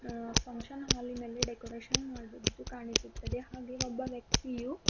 ಆ ಫಂಕ್ಷನ್ ಹಾಲಿನಲ್ಲಿ ಡೆಕೋರೇಷನ್ ಮಾಡಿದ್ದು ಕಾಣಿಸುತ್ತದೆ ಹಾಗೆ ಒಬ್ಬ ವ್ಯಕ್ತಿಯು--